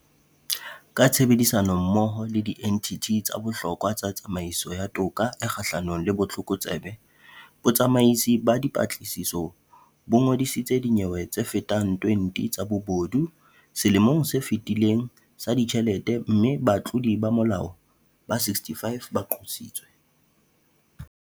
Ka tshebedisanommoho le dienthithi tse bohlokwa tsa tsamaisong ya toka e kgahlano le botlokotsebe, Botsamaisi ba Dipatlisiso bo ngodisitse dinyewe tsefetang 20 tsa bobodu selemong se fetileng sa ditjhelete mme batlodi ba molao ba 65 ba qositswe.